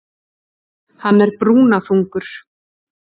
Hann er brúnaþungur.